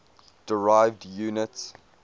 derived units